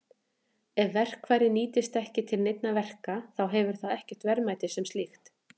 Ef verkfærið nýtist ekki til neinna verka þá hefur það ekkert verðmæti sem slíkt.